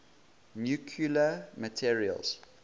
nuclear materials